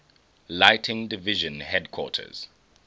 lighting division headquarters